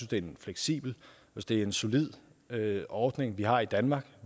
det er en fleksibel at det er en solid ordning vi har i danmark